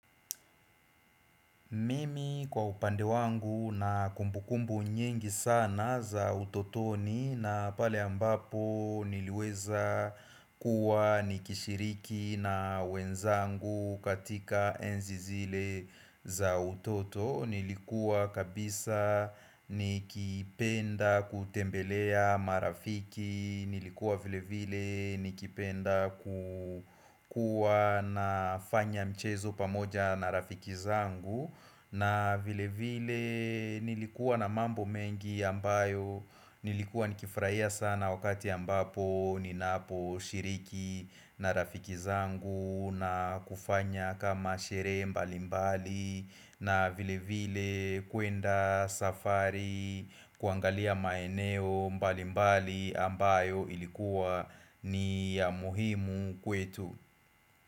Mimi kwa upande wangu na kumbukumbu nyingi sana za utotoni na pale ambapo niliweza kuwa nikishiriki na wenzangu katika enzi zile za utoto Nilikuwa kabisa nikipenda kutembelea marafiki Nilikuwa vile vile nikipenda ku kuwa na fanya mchezo pamoja na rafiki zangu na vile vile nilikuwa na mambo mengi ambayo Nilikuwa nikifurahia sana wakati ambapo ninapo shiriki na rafiki zangu na kufanya kama sherehe mbali mbali na vile vile kuenda safari kuangalia maeneo mbali mbali ambayo ilikuwa ni ya muhimu kwetu.